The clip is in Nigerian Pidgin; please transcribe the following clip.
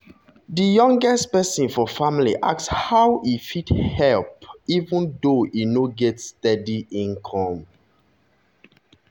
di youngest person for family ask how e fit help fit help even though e no get steady income.